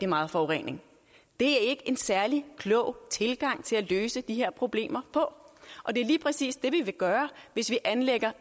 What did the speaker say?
meget forurening det er ikke en særlig klog tilgang til at løse de her problemer og det er lige præcis det vi vil gøre hvis vi anlægger